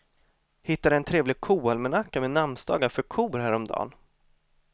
Hittade en trevlig koalmanacka med namnsdagar för kor häromdagen.